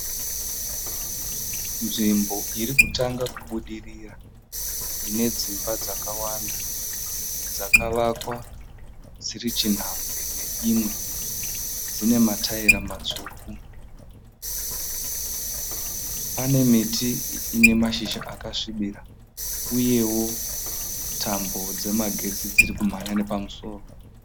Nzvimbo iri kutanga kubudirira ine dzimba dzakawanda dzakavakwa dziri chinhambwe neimwe. Dzine mataira matsvuku. Pane miti ine mashizha akasvibira uye tambo dzemagetsi dziri kumhanya nepamusoro.